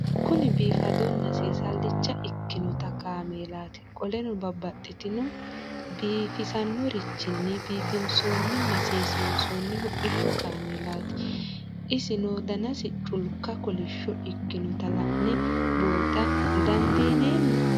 Kuni bifadona sesalicha ikinota kamelati qoleno babaxitino bifisanorichin bifinsonina sesinsoni hodhishu kamelati isino danasi culika kolish ikinota la'ne buuxa dandinemo?